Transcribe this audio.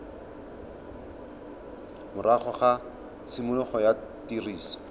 morago ga tshimologo ya tiriso